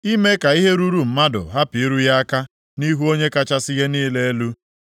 ime ka ihe ruru mmadụ hapụ iru ya aka nʼihu Onye kachasị ihe niile elu,